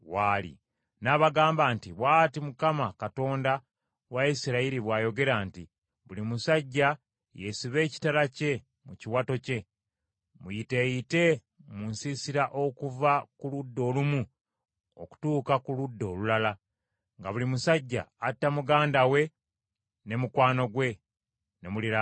N’abagamba nti, “Bw’ati Mukama Katonda wa Isirayiri bw’ayogera nti, ‘Buli musajja yeesibe ekitala kye mu kiwato kye, muyiteeyite mu nsiisira okuva ku ludda olumu okutuuka ku ludda olulala, nga buli musajja atta muganda we ne mukwano gwe, ne muliraanwa we.’ ”